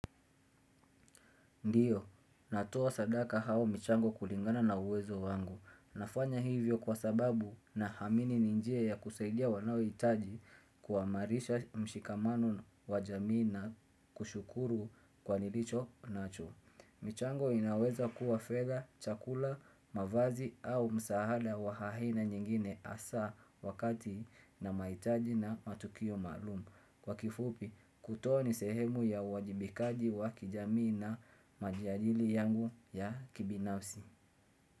Ndiyo, natoa sadaka au mchango kulingana na uwezo wangu. Nafanya hivyo kwa sababu naamini ni njia ya kusaidia wanaohitaji kuamarisha mshikamano wa jamii na kushukuru kwa nilicho nacho. Michango inaweza kuwa fedha, chakula, mavazi au msaada wa haina nyingine hasa wakati nina mahitaji na matukio maalum. Kwa kifupi, kutoa ni sehemu ya uwajibikaji wa kijamii na majiajili yangu ya kibinafsi.